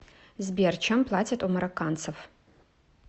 сбер чем платят у марокканцев